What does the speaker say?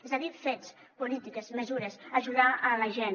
és a dir fets polítiques mesures ajudar la gent